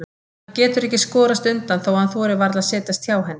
Hann getur ekki skorast undan þó að hann þori varla að setjast hjá henni.